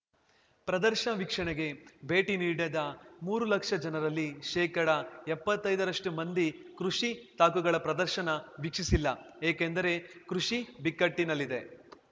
ಪ್ರದರ್ಶ ವೀಕ್ಷಣೆಗೆ ಭೇಟಿ ನೀಡಿದ ಮೂರು ಲಕ್ಷ ಜನರಲ್ಲಿ ಶೇಕಡ ಎಪ್ಪತ್ತೈದ ರಷ್ಟು ಮಂದಿ ಕೃಷಿ ತಾಕುಗಳ ಪ್ರದರ್ಶನ ವೀಕ್ಷಿಸಿಲ್ಲ ಏಕೆಂದರೆ ಕೃಷಿ ಬಿಕ್ಕಟ್ಟಿನಲ್ಲಿದೆ